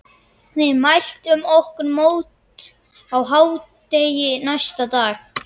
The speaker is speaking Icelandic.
Við mæltum okkur mót á hádegi næsta dag.